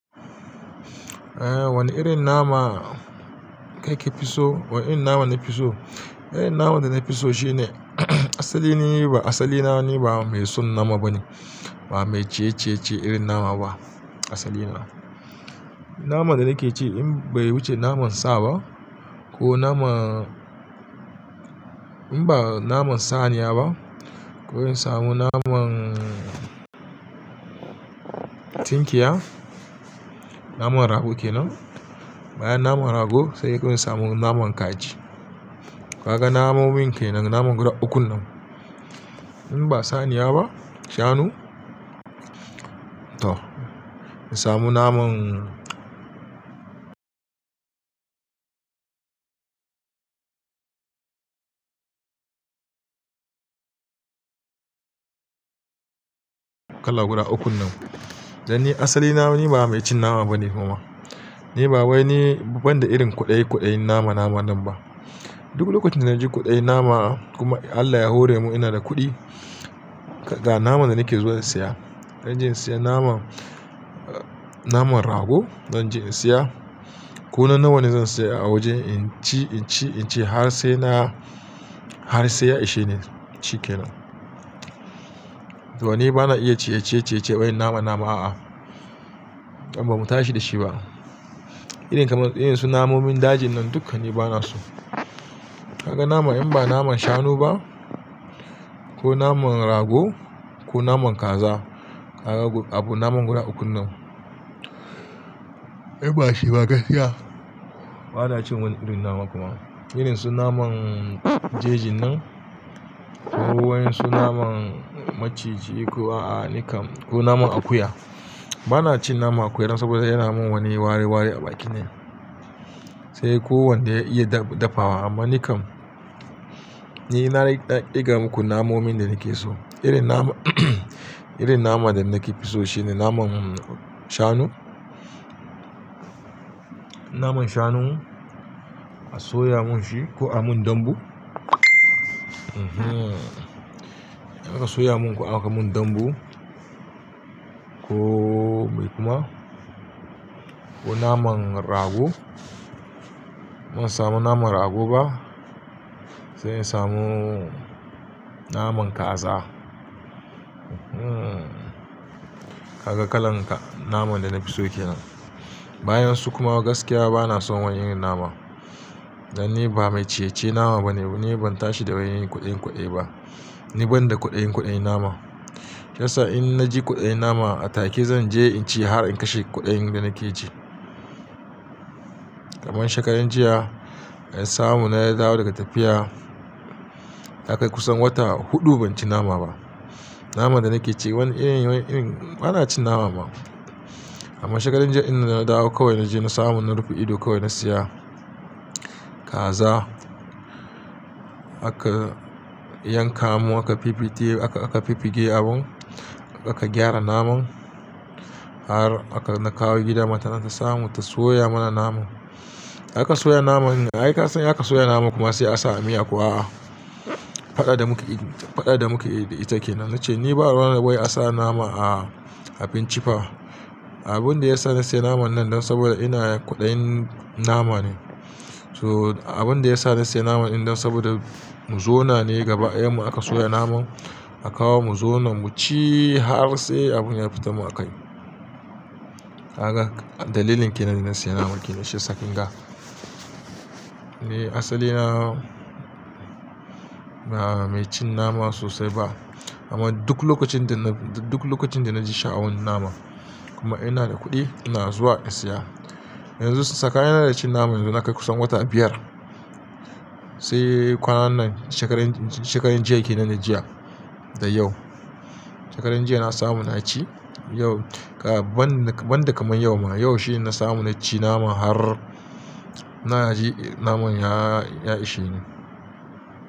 Eh wani irin nama kake fi so? Wane irin nama nafi so? Irin naman da nafiso shine asali na ni ba, asali na ni ba mai son nama bane, ba mai cecece irin nama ba a asali na. Naman da nake ci in bai wuce naman sa ba ko naman in ba naman saniya ba ko in samu naman tunkiya, naman rago kenan. Bayan naman rago sai in samu naman kaji. Kaga namomin kai nan naman guda uku nan. In ba saniya ba, shanu to in samu naman kala guda uku nan. Dan ni asali na ni ba mai cin nama bane kuma. Ni ba wani banda irin kuɗaikuɗai nama nama nan ba. Duk lokacin da naji kuɗaen nama kuma Allah ya hore mu ina da kuɗi, ga naman da nake zuwa in saya. Zan je in saya naman, naman rago zan je in saya. Ko nan nawa ne zan saya a waje in ci, in ci, in ci har sai na, har sai ya ishe ni ci kenan. To ni bana iya cececece wai nama nama a'a. Dan ba mu tashi da shi ba. Irin kamar irinsu namomin dajin nan dukkani bana so. Kaga naman in ba naman shanu ba ko naman rago ko naman kaza, kaga abu naman guda uku nan. Ai bashi ba gaskiya. Bana cin wani irin nama kuma. Irinsu naman jejin nan ko wai su naman maciji ko a'a nikan ko naman akuya. Bana cin naman akuya nan saboda yana min wani wareware a baki ne. Sai ko wanda ya iya dafawa amma nikan, ni na ɗiga muku namomin da nake so. Irin nama irin naman da nake fi so shine naman shanu. Naman shanu aka soya mun shi ko aka mun dambu. Mhm. An ka soya mun ko aka mun dambu ko kuma ko naman rago. Ban samu naman rago ba sai in samu naman kaza. Mhm. Kaga kalan naman da nafiso kenan. Bayan su kuma gaskiya bana son wani irin nama. Dan ni ba mai cece nama bane. Ni ban tashi da wani kuɗainkuɗai ba. Ni banda kuɗainkuɗai nama. Kiysan in naji kuɗaen nama a take zan je in ci har in kashe kuɗaen da nake ci. Kaman shekaran jiya in samu na ya dawo daga tafiya, na kai kusan wata huɗu ban ci nama ba. Naman da nake ci wani irin, wani irin bana cin nama ma. Amma shekaran jiya idan na dawo kawai na je na samu na rufe ido kawai na siya kaza. A ka yankamo aka pipite, aka, aka pipige abun, aka gyara naman har aka na kawo gida matar nan ta samu ta soya mana naman. A ka soya naman ga ai ka san aka soya naman kuma sai a sa a miya kuwa a'a. Faɗa da muke, faɗa da muke ita kenan. Nace ni ba ranar da wai a sa nama a, a bincika. Abun da ya sa na siya naman nan dan saboda ina da kuɗaen nama ne. So abun da ya sa na siya naman in dan saboda mu zo na ne gaba. Yamma aka soya naman a kawo mu zo nan mu ci har sai abun ya fita mu a kai. Haka dalilin kenan na siya naman kenan shi sakin ga. Ni asali na ba mai cin nama sosai ba. Amma duk lokacin da na, duk lokacin da na ji sha'awan nama kuma ina da kuɗi ina zuwa in siya. Yanzu saka yana da cin naman yanzu na kai kusan wata biyar. Sai kwanan nan shekaran, shekaran jiya kenan na jiya da yau. Shekaran jiya na samu na ci yau, ga ban, ban da kamar yau ma. Yau shine na samu na ci nama har na ji naman ya, ya ishe ni.